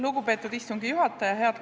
Lugupeetud istungi juhataja!